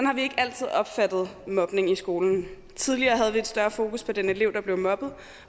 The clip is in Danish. har vi ikke altid opfattet mobning i skolen tidligere havde vi et større fokus på den elev der blev mobbet